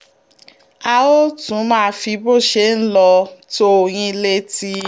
a óò tún máa fi bó ṣe ń lọ tó yín létí